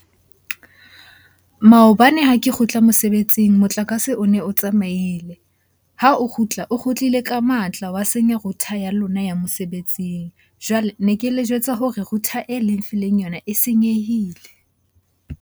Maobane ha ke kgutla mosebetsing motlakase o ne o tsamaile. Ha o kgutla, o kgutlile ka matla wa senya router ya lona ya mosebetsing. Jwale ne ke le jwetsa hore router e le nfileng yona e senyehile.